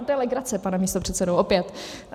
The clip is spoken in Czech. To je legrace, pane místopředsedo, opět.